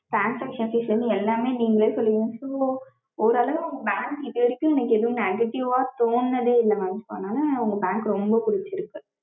Transactions எல்லாமே நீங்களே சொல்லுவிங்க so ஒரு அளவு உங்க bank இது வரைக்கும் எனக்கு எதுவும் negative வா தோனுனதே இல்ல mam so அதுனால உங்க Bank ரொம்ப புடிச்சிருக்கு